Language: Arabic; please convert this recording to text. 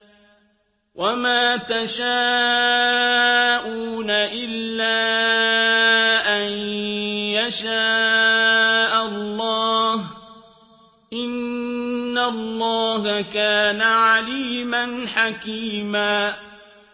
وَمَا تَشَاءُونَ إِلَّا أَن يَشَاءَ اللَّهُ ۚ إِنَّ اللَّهَ كَانَ عَلِيمًا حَكِيمًا